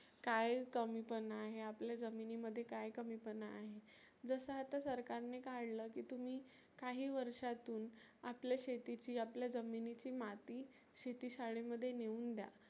काय कमीपणा आहे आपल्या जमिनी मध्ये काय कमीपणा आहे. जसं आता सरकारने काढलं की तुम्ही काही वर्षातुन आपल्या शेतीची आपल्या जमिनीची माती शेती शाळेमध्ये नेऊन द्या